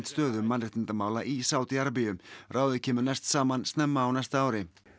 stöðu mannréttindamála í Sádí Arabíu ráðið kemur næst saman snemma á næsta ári